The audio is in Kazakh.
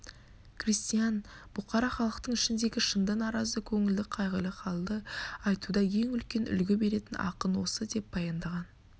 крестьян бұқара халықтың ішіндегі шынды наразы көңілді қайғылы халді айтуда ең үлкен үлгі беретін ақын осы деп баяндаған